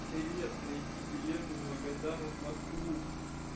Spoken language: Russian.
привет найди билет из магадана в москву